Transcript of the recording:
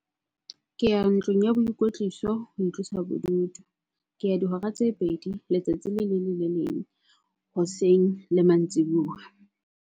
Ke ya ntlung ya boikwetliso ho itlosa bodutu. Ke ya dihora tse pedi letsatsi le leng le le leng, hoseng le mantsibuya.